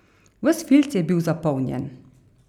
Ves filc je bil zapolnjen.